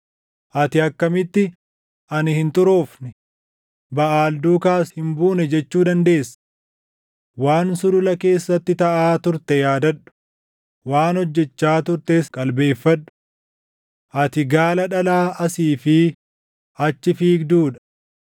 “Ati akkamitti, ‘Ani hin xuroofne; Baʼaal duukaas hin buune’ jechuu dandeessa? Waan sulula keessatti taʼaa turte yaadadhu; waan hojjechaa turtes qalbeeffadhu. Ati gaala dhalaa asii fi achi fiigduu dha;